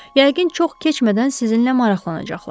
Yəqin çox keçmədən sizinlə maraqlanacaqlar.